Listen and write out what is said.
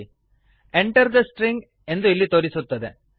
Enter the stringಎಂಟರ್ the string ಎಂದು ಇಲ್ಲಿ ತೋರಿಸುತ್ತದೆ